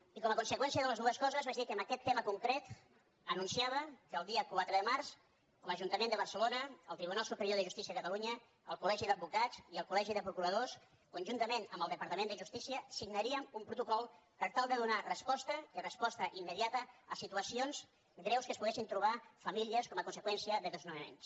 i com a conseqüència de les dues coses vaig dir que en aquest tema concret anunciava que el dia quatre de març l’ajuntament de barcelona el tribunal superior de justícia de catalunya el col·legi d’advocats i el colconjuntament amb el departament de justícia signaríem un protocol per tal de donar resposta i resposta immediata a situacions greus que es poguessin trobar famílies com a conseqüència de desnonaments